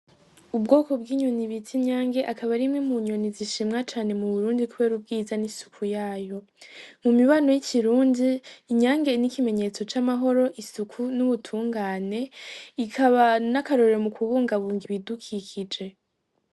Ubwoko bw'inyoni bita Inyange, ikaba ari imwe mu nyoni zishimwa cane mu Burundi kubera ubwiza n'isuku yayo. Mu mibano y'ikirundi, inyange ni ikimenyetso c'amahoro, isuku, n'ubutungane, ikaba n'akarorero mu kubungabunga ibidukikije.